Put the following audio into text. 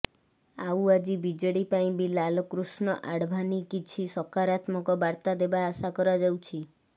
ଆଉ ଆଜି ବିଜେଡି ପାଇଁ ବି ଲାଲକୃଷ୍ଣ ଆଡଭାନି କିଛି ସକରାତ୍ମକ ବାର୍ତା ଦେବା ଆଶା କରାଯାଉଛି